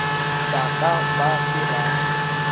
ba ka ba se ba